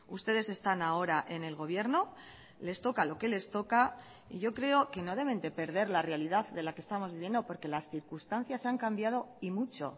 ustedes están ahora en el gobierno les toca lo que les toca y yo creo que no deben de perder la realidad de la que estamos viviendo porque las circunstancias han cambiado y mucho